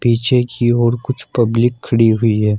पीछे की ओर कुछ पब्लिक खड़ी हुई है।